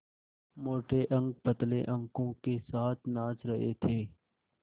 मोटे अंक पतले अंकों के साथ नाच रहे थे